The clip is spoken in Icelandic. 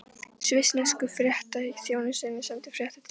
Svissnesku fréttaþjónustuna, senda fréttir til Íslands.